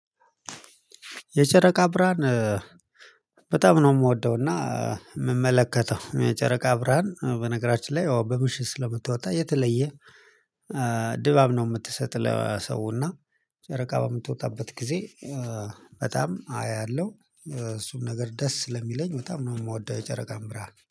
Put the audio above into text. የጨረቃ ብርሃን። በጣም ነው የምወደው እና የምመለከተው የጨረቃ ብርሃን በነገራችን ላይ ያው በምሽት ስለምትወጣ የተለየ ድባብ ነው የምትሰጥ። ለሰውና ጨረቃ በምትወጣበት ጊዜ በጣም አያለሁ እሱም ነገር ደስ ስለሚለኝ በጣም ነው የምወደው። የጨረቃን ብርሃን